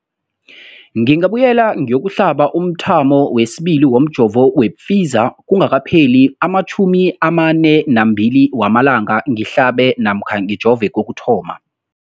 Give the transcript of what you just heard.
ngingabuyela ngiyokuhlaba umthamo wesibili womjovo we-Pfizer kungakapheli ama-42 wamalanga ngihlabe namkha ngijove kokuthoma.